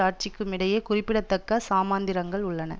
ஆட்சிக்குமிடையே குறிப்பிடத்தக்க சமாந்திரங்கள் உள்ளன